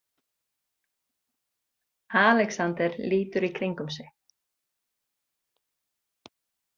Alexander lítur í kringum sig.